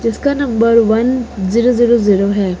इसका number one zero zero zero है।